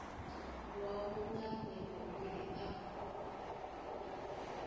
wau nga mbebo uri a